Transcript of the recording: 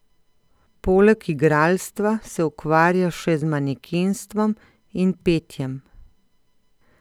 Poleg igralstva se ukvarja še z manekenstvom in petjem.